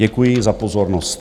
Děkuji za pozornost.